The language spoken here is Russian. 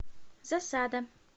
засада